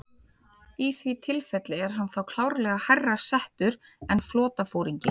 Í því tilfelli er hann þá klárlega hærra settur en flotaforingi.